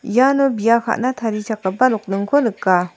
iano bia ka·na tarichakgipa nokningko nika.